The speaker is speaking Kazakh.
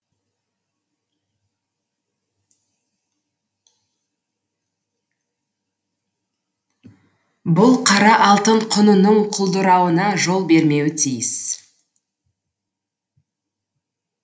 бұл қара алтын құнының құлдырауына жол бермеуі тиіс